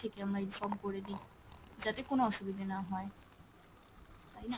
থেকে আমরা inform করে দি যাতে কোনো অসুবিধে না হয়। তাইনা!